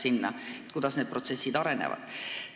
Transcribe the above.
Nii oleksime kursis, kuidas need protsessid arenevad.